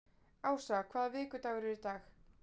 Ása, hvaða vikudagur er í dag?